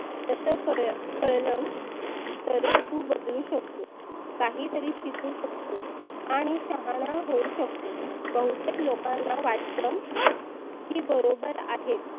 तस कळलं तरच तु बदलु शकतो. काही तरी शिकु शकतो, आणि शहाना होऊ शकतोस बहुतेक लोकांना वाटतं की बरोबर आहेत.